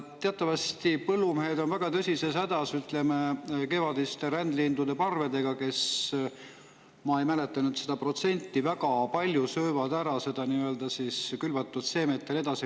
Teatavasti on põllumehed väga tõsises hädas kevadiste rändlindude parvedega, kes – ma ei mäleta nüüd seda protsenti – söövad väga palju külvatud seemet.